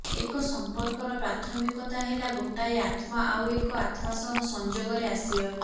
ଏକ ସଂପର୍କର ପ୍ରାଥମିକତା ହେଲା ଗୋଟାଏ ଆତ୍ମା ଆଉ ଏକ ଆତ୍ମା ସହ ସଂଯୋଗରେ ଆସିବା